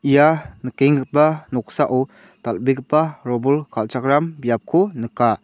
ia nikenggipa noksao dal·begipa robol kal·chakram biapko nika.